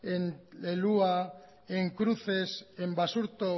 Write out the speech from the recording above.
el hua en cruces en basurto